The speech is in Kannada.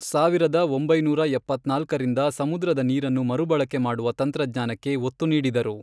ಸಾವಿರದ ಒಂಬೈನೂರ ಎಪ್ಪತ್ನಾಲ್ಕರಿಂದ ಸಮುದ್ರದ ನೀರನ್ನು ಮರುಬಳಕೆ ಮಾಡುವ ತಂತ್ರಜ್ಞಾನಕ್ಕೆ ಒತ್ತು ನೀಡಿದರು.